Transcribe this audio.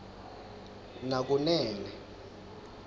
nakunene